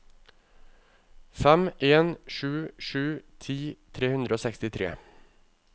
fem en sju sju ti tre hundre og sekstitre